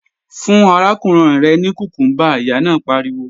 Fún arákùnrin rẹ ní kùkúmbà, Ìyá náà pariwo!